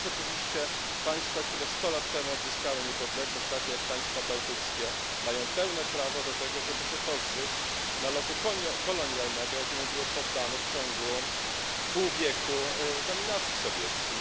Natomiast oczywiście państwa, które sto lat temu odzyskały niepodległość, takie jak państwa bałtyckie, mają pełne prawo do tego, żeby się pozbyć nalotu kolonialnego, jakiemu były poddane w ciągu pół wieku dominacji sowieckiej.